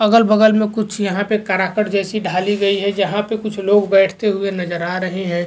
अगल-बगल में कुछ यहां पे कराकट जैसी ढाली गई है जहां पे कुछ लोग बैठते हुए नजर आ रहे हैं।